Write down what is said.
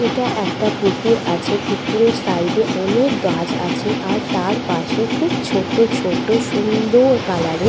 এটা একটা পুকুর আছে পুকুরের সাইডে অনেক গাছ আছে আর তার পাশে খুব ছোট ছোট সুন্দর কালারের --